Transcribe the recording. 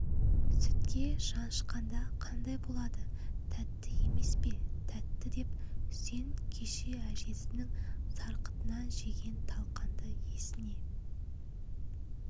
сүтке жанышқанда қандай болады тәтті емес пе тәтті деп үсен кеше әжесінің сарқытынан жеген талқанды есіне